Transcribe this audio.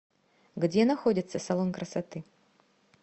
где находится салон красоты